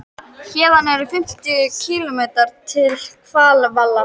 Héðan eru um fimmtíu kílómetrar til Hveravalla.